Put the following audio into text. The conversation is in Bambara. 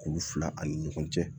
Kuru fila ani ɲɔgɔn cɛ